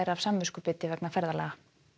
af samviskubiti vegna ferðalaga